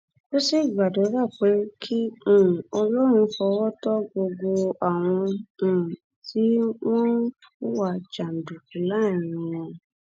ó sì gbàdúrà pé kí um ọlọrun fọwọ tó gbogbo àwọn um tí wọn ń hùwà jàǹdùkú láàárín wọn